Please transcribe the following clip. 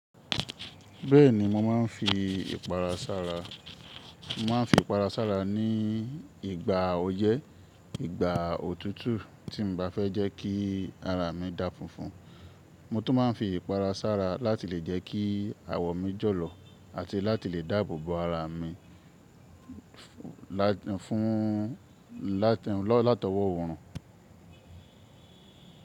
Bẹ́ẹ̀ni mo ma ń fi ìpara sára. Mo ma ń fi ìpara sára ní ìgbà ọyé, ìgbà òtútù tí n ba fẹ́ jẹ́ kí ara mi dà funfun. Mo tún ma ń fi ìpara sára láti lè jẹ́ kí àwọ̀ mi jọ̀lọ̀ àti láti lè dáàbò bo ara mi fún, látọwọ́ òorùn.